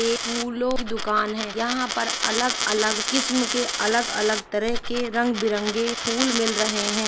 एक फूलों की की दुकान है यहाँ पर अलग अलग किस्म के अलग अलग तरह के रंग बिरंगे फूल मिल रहे है।